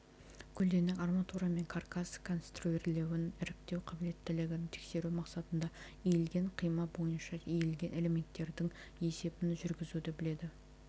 көлденең арматура мен каркас конструирлеуін іріктеу қабілеттілігін тексеру мақсатында иілген қима бойынша иілген элементтерінің есебін жүргізуді біледі